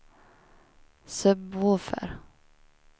sub-woofer